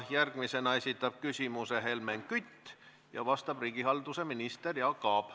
Järgmisena esitab küsimuse Helmen Kütt ja vastab riigihalduse minister Jaak Aab.